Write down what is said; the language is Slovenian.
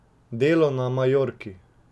Delo na Majorki.